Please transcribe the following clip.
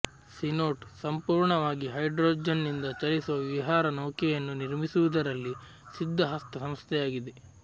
cenote ಸಂಪೂರ್ಣವಾಗಿ ಹೈಡ್ರೋಜನ್ನಿಂದ ಚಲಿಸುವ ವಿಹಾರ ನೌಕೆಯನ್ನು ನಿರ್ಮಿಸುವುದರಲ್ಲಿ ಸಿದ್ಧ ಹಸ್ತ ಸಂಸ್ಥೆಯಾಗಿದೆ